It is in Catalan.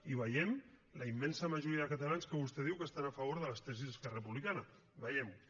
i vegem la immensa majoria de catalans que vostè diu que estan a favor de les tesis d’esquerra republicana vegem ho